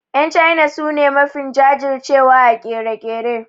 Yan China su ne mafi jajir cewa a ƙere-ƙere.